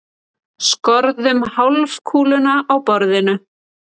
Skorðum hálfkúluna á borðinu.